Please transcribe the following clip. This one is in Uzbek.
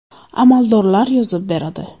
Amaldor yozib beradi.